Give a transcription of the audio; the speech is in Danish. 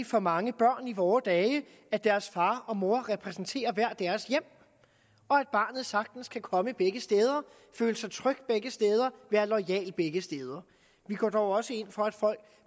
for mange børn i vore dage at deres far og mor repræsenterer hvert deres hjem og at barnet sagtens kan komme begge steder føle sig tryg begge steder være loyal begge steder vi går dog også ind for at folk